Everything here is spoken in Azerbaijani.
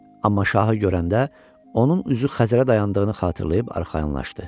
Amma şahı görəndə onun üzü Xəzərə dayandığını xatırlayıb arxayınlaşdı.